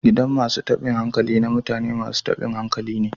Gidan masun tabin hankali na mutane masun tabin hankali ne.